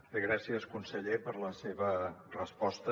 bé gràcies conseller per la seva resposta